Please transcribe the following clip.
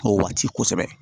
O waati kosɛbɛ